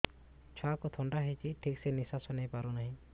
ଛୁଆକୁ ଥଣ୍ଡା ହେଇଛି ଠିକ ସେ ନିଶ୍ୱାସ ନେଇ ପାରୁ ନାହିଁ